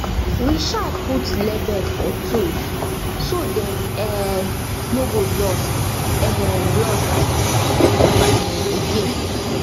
we um put label for tools so dem um no go lost um lost um again